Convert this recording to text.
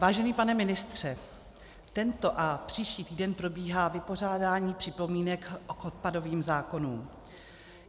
Vážený pane ministře, tento a příští týden probíhá vypořádání připomínek k odpadovým zákonům.